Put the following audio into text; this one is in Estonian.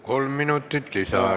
Kolm minutit lisaaega.